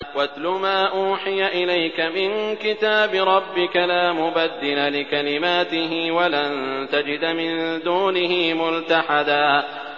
وَاتْلُ مَا أُوحِيَ إِلَيْكَ مِن كِتَابِ رَبِّكَ ۖ لَا مُبَدِّلَ لِكَلِمَاتِهِ وَلَن تَجِدَ مِن دُونِهِ مُلْتَحَدًا